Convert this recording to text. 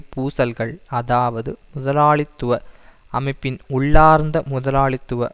பூசல்கள் அதாவது முதலாளித்துவ அமைப்பின் உள்ளார்ந்த முதலாளித்துவ